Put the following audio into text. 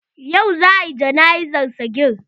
Yau za a yi jana'izar sagir.